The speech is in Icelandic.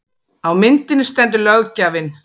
Á myndinni stendur löggjafinn